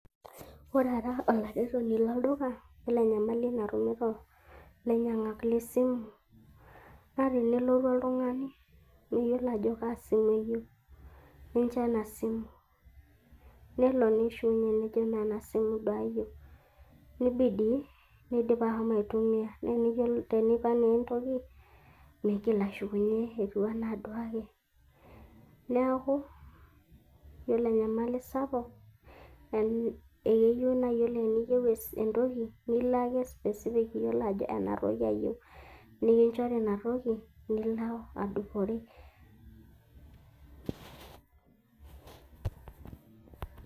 ore ara olaretoni loldulka, ore enyamali natumito ilainyiangak le simu, naa tenelotu oltungani, meyiolo ajo kaa simu eyieu. nelo neshukunye nejo imme ena simu duo ayieu. nibidi, nidipa ashomo aitumia. naa teneipang naa entoki meigil ashukunye etiu anaa duake. neeku, yiolo enyamali sapuk, ekeyieu naa teniyieu entoki nilo ake iyiolo ajo ena toki ayieu, nikinchori ina toki nilo adupore.